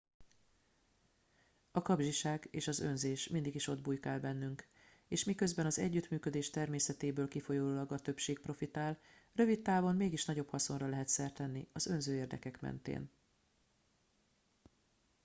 a kapzsiság és az önzés mindig is ott bujkál bennünk és miközben az együttműködés természetéből kifolyólag a többség profitál rövid távon mégis nagyobb haszonra lehet szert tenni az önző érdekek mentén